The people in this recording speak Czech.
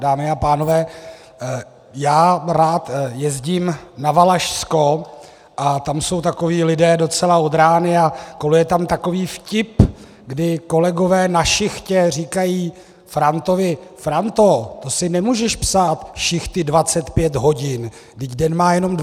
Dámy a pánové, já rád jezdím na Valašsko a tam jsou takoví lidé docela od rány a koluje tam takový vtip, kdy kolegové na šichtě říkají Frantovi: Franto, to si nemůžeš psát šichty 25 hodin, vždyť den má jenom 24 hodin.